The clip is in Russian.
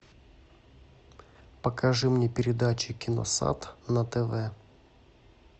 покажи мне передачи киносат на тв